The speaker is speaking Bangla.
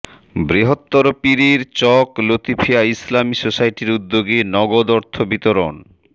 বৃহত্তর পীরের চক লতিফিয়া ইসলামী সোসাইটির উদ্যোগে নগদ অর্থ বিতরণ